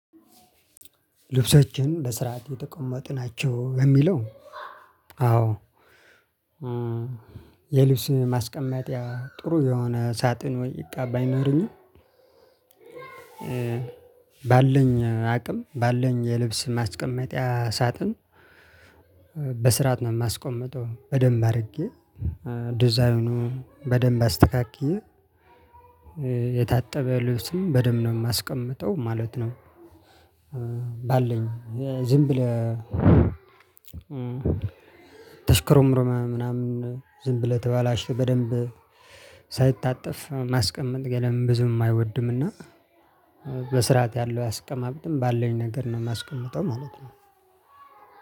ልብሳችን በስርዓት የተቀመጡ ናቸው ለሚለው? አዎ። የልብስ ማስቀመጭያ ጥሩ የሆነ ሳጥን ወይ እቃ ባይኖረኝም። ባለኝ አቅም ባለኝ የልብስ ማስቀመጫ ሳጥን። በስራት ነው የማስቀምጠው በደምብ አድርጌ ዲዛይኑ በደንብ አስተካክዬ የታጠበ ለብስም በደንብ ነው የማስቀምጠው ማለት ነው። ባለኝ ዝም ብለህ ተሽኮርምመህ ምናምን ዝም ብለህ የተበላሽ በደንብ ሳይታፍ ማስቀመጥ ብዙም አይወድም። እና በስርዓት ያለው ያስቀማመጥም ባለኝ ነገር ነው የማስቀምጠው ማለት ነው።